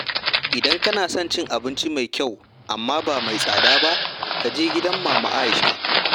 Idan kana son cin abinci mai kyau, amma ba mai tsada ba, ka je gidan Mama Aisha.